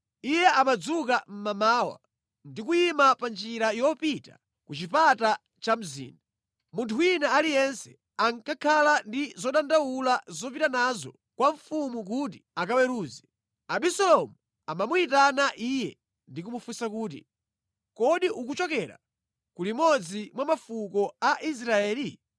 Iye amadzuka mmamawa ndi kuyima pa njira yopita ku chipata cha mzinda. Munthu wina aliyense akakhala ndi zodandaula zopita nazo kwa mfumu kuti akaweruze, Abisalomu amamuyitana iye ndi kumufunsa kuti, “Kodi ukuchokera ku limodzi mwa mafuko a Israeli?”